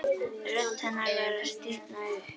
Rödd hennar var að stífna upp.